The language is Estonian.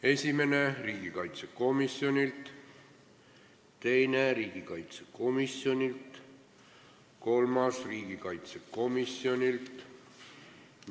Esimene, teine ja kolmas ettepanek on riigikaitsekomisjonilt.